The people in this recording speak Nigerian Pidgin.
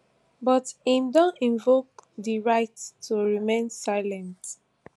but im don invoke din right to remain silent